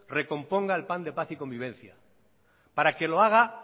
recomponga el plan de paz y convivencia para que lo haga